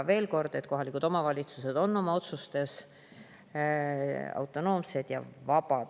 Veel kord, kohalikud omavalitsused on oma otsustes autonoomsed ja vabad.